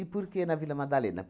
por que na Vila Madalena?